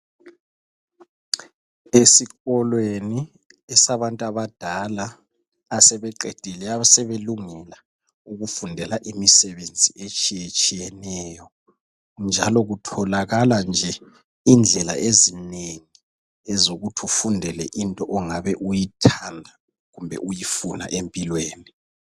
Esikolweni esabantu abadala asebeqedile asebelungela ukufundela imisebenzi etshiyetshiyeneyo njalo kutholakala nje indlela ezinengi ezokuthi ufundele into ongabe uyithanda kumbe uyifuna empilweni.